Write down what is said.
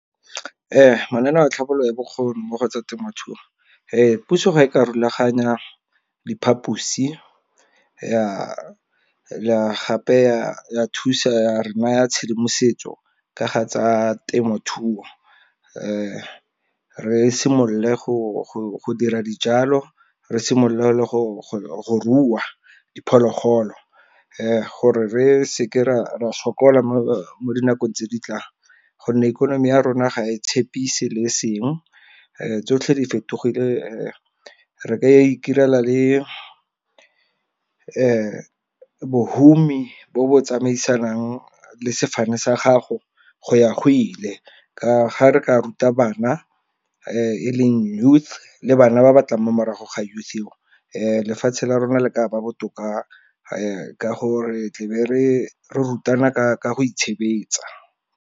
Ee mananeo a tlhabololo ya bokgoni mo go tsa temothuo, puso ga e ka rulaganya diphaposi ya gape ya thusa re naya tshedimosetso ka ga tsa temothuo. Re simolole go dira dijalo, re simolole le go rua diphologolo, gore re seke ra sokola mo dinakong tse di tlang, gonne ikonomi ya rona, ga e tshepise le e seng. Tsotlhe di fetogile re ka ikirela le bohumi bo bo tsamaisanang le sefane sa gago, go ya go ile. Ka ga re ka ruta bana e leng youth le bana ba batlang mo morago ga youth eo, Lefatshe la rona le ka ba botoka ka gore re tla be re rutana ka go itshebetsa.